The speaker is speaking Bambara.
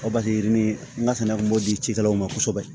yirini n ka sɛnɛ kun b'o di cikɛlaw ma kosɛbɛ